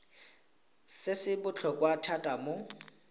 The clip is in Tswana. se se botlhokwa thata mo